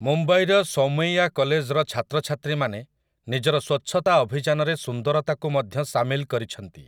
ମୁମ୍ବାଇର ସୋମୈୟା କଲେଜର ଛାତ୍ରଛାତ୍ରୀମାନେ ନିଜର ସ୍ୱଚ୍ଛତା ଅଭିଯାନରେ ସୁନ୍ଦରତାକୁ ମଧ୍ୟ ସାମିଲ କରିଛନ୍ତି ।